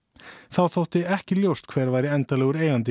þá þótti ekki ljóst hver væri endanlegur eigandi